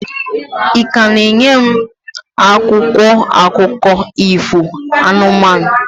Ị ka na-enye m akwụkwọ akụkọ ifo anụmanụ?